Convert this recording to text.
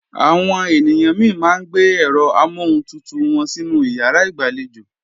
Àwọn ènìyàn mi máa ń gbé ẹ̀rọ amọ́huntutù wọn sínú ìyàrá ìgbàlejò